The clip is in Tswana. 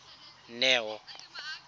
neo